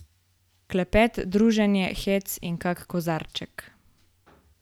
Klepet, druženje, hec in kak kozarček ...